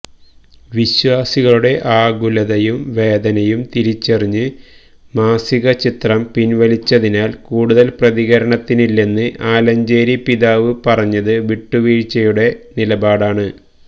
വിശ്വാസികളുടെ ആകുലതയും വേദനയും തിരിച്ചറിഞ്ഞ് മാസിക ചിത്രം പിൻവലിച്ചതിനാൽ കൂടുതൽ പ്രതികരണത്തിനില്ലെന്ന് ആലഞ്ചേരി പിതാവ് പറഞ്ഞത് വീട്ടുവീഴ്ചയുടെ നിലപാടാണ്